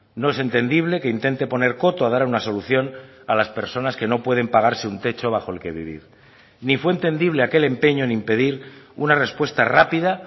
no es entendible que intente poner coto a dar una solución a las personas que no pueden pagarse un techo bajo el que vivir ni fue entendible aquel empeño en impedir una respuesta rápida